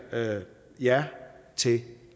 ja til